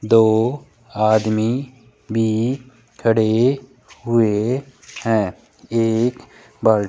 दो आदमी भी खड़े हुए है एक बल --